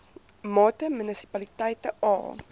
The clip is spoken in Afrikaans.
mate munisipaliteite a